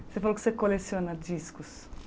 Você falou que você coleciona discos.